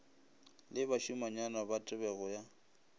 le bašimanyana ba tebego ya